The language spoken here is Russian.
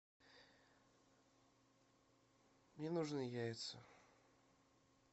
мне нужны яйца